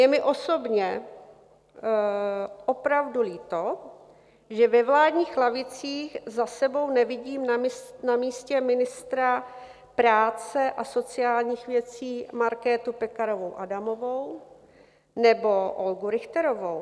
Je mi osobně opravdu líto, že ve vládních lavicích za sebou nevidím na místě ministra práce a sociálních věcí Markétu Pekarovou Adamovou nebo Olgu Richterovou.